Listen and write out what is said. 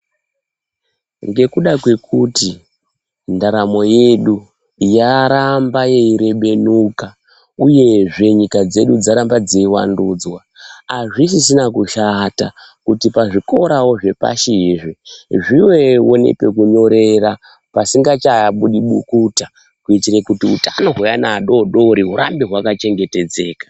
Ngekuda kwekuti ndaramo yedu yaramba yeirebenuka uyezve nyika dzedu dzaramba dzeiwandudzwa azvisisina kushata kuti pazvikorawo zvepashi izvi zvivevo nepekunyorera pasingachabudi bukuta kuitire kuti utano hweana adodori hurambe hwaka chengetedzeka.